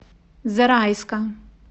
зарайска